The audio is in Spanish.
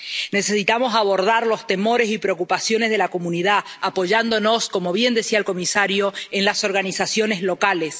Necesitamos abordar los temores y preocupaciones de la comunidad, apoyándonos —como bien decía el comisario— en las organizaciones locales.